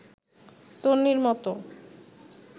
তন্বীর মতো